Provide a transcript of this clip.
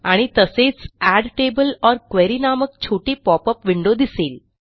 आणि तसेच add table or query नामक छोटी पॉपअप विंडो दिसेल